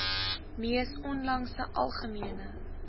mees onlangse algemene